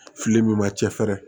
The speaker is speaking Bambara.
Fili min ma cɛ fɛrɛ